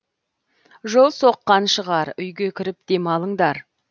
жол соққан шығар үйге кіріп демалыңдар